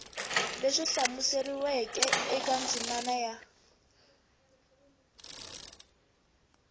leswi hlamuseriweke eka ndzimana ya